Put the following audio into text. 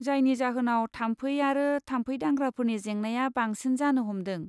जायनि जाहोनाव थाम्फै आरो थाम्फै दांग्राफोरनि जेंनाया बांसिन जानो हमदों।